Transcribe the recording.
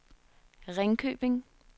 Ringkøbing